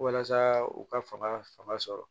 Walasa u ka fanga fanga sɔrɔ